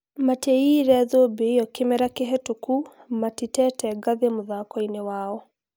Matiaiyire thũmbĩ ĩyo kĩmera kĩhetuku, Matitete ngathĩ mũthakoine wao